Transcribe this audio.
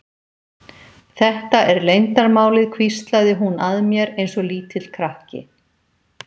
Þetta er leyndarmálið hvíslaði hún að mér eins og lítill krakki.